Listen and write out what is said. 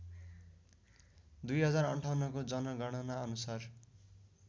२०५८ को जनगणनाअनुसार